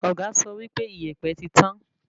Ọ̀gá sọ wípé ìyèpẹ̀ ti tán